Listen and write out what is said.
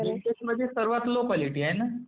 बेंटेक्स म्हणजे सर्वात low quality आहे ना?